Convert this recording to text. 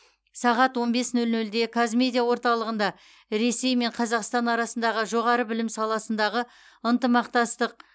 сағат он бес нөл нөлде қазмедиа орталығында ресей мен қазақстан арасындағы жоғары білім саласындағы ынтымақтастық